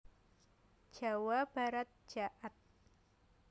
Jawa Barat jaat